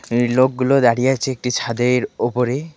এই লোকগুলো দাঁড়িয়ে আছে একটি ছাদের ওপরে .